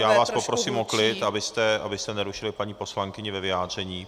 Já vás poprosím o klid, abyste nerušili paní poslankyni ve vyjádření.